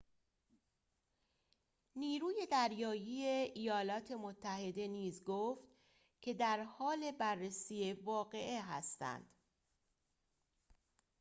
نیروی دریایی ایالات متحده نیز گفت که درحال بررسی واقعه هستند